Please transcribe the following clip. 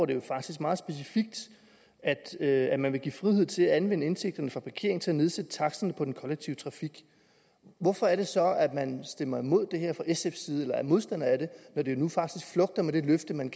det jo faktisk meget specifikt at man vil give frihed til at anvende indtægterne fra parkering til at nedsætte taksterne på den kollektive trafik hvorfor er det så at man stemmer imod det her fra sfs side eller er modstander af det når det nu faktisk flugter med det løfte men